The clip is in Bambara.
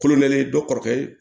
Kolo kɛlen dɔ kɔrɔkɛ ye